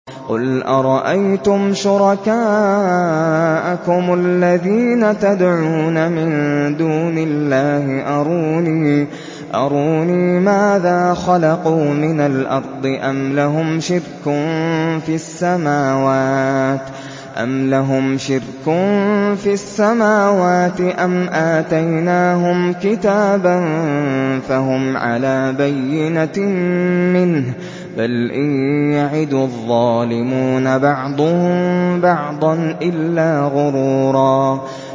قُلْ أَرَأَيْتُمْ شُرَكَاءَكُمُ الَّذِينَ تَدْعُونَ مِن دُونِ اللَّهِ أَرُونِي مَاذَا خَلَقُوا مِنَ الْأَرْضِ أَمْ لَهُمْ شِرْكٌ فِي السَّمَاوَاتِ أَمْ آتَيْنَاهُمْ كِتَابًا فَهُمْ عَلَىٰ بَيِّنَتٍ مِّنْهُ ۚ بَلْ إِن يَعِدُ الظَّالِمُونَ بَعْضُهُم بَعْضًا إِلَّا غُرُورًا